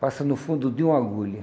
Passa no fundo de uma agulha.